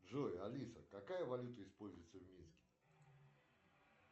джой алиса какая валюта используется в минске